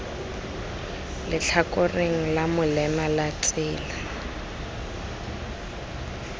letlhakoreng la molema la tsela